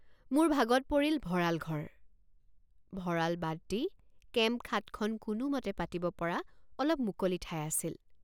মোৰ ভাগত পৰিল ভঁৰাল ঘৰ। মোৰ ভাগত পৰিল ভঁৰাল ঘৰ। ভঁৰাল বাদ দি কেম্পখাটখন কোনোমতে পাতিব পৰা অলপ মুকলি ঠাই আছিল।